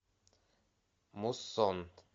муссон